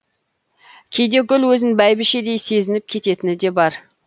кейде гүл өзін бәйбішедей сезініп кететіні де бар